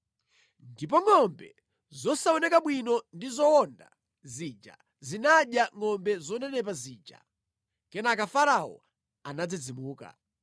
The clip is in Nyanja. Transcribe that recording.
Ndipo ngʼombe zosaoneka bwino ndi zowonda zija zinadya ngʼombe zonenepa zija. Kenaka Farao anadzidzimuka.